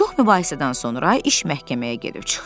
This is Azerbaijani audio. Çox mübahisədən sonra iş məhkəməyə gedib çıxdı.